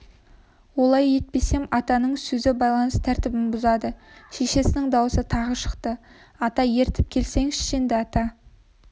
олай етпесем атаның сөзі байланыс тәртібін бұзады шешесінің даусы тағы шықты ата ертіп келсеңші енді ата